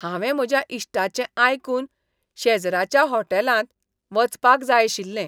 हांवें म्हज्या इश्टांचें आयकून शेजराच्या होटॅलांत वचपाक जाय आशिल्लें.